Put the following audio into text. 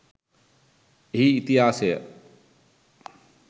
එහි ඉතිහාසය